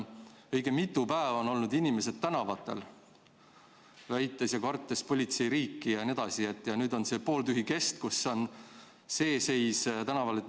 Õige mitu päeva on olnud inimesed tänavatel, kartes politseiriiki jne, ja nüüd on seadusest alles see pooltühi kest.